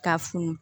K'a funu